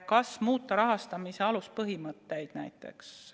Kas muuta rahastamise aluspõhimõtteid?